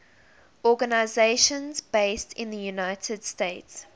organizations based in the united states